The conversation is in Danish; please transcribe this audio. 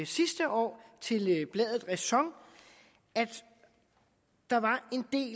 sidste år til bladet ræson at der var